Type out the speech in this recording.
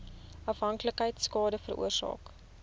afhanklikheid skade veroorsaak